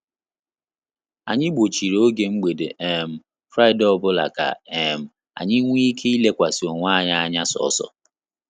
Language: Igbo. Anyị gbochiri oge mgbede um Fraịdee ọbụla ka um anyị nwe ike I lekwasị onwe anyị anya sọsọ